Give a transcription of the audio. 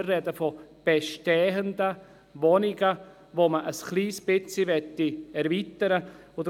Wir sprechen von bestehenden Wohnungen, die man ein bisschen erweitern möchte.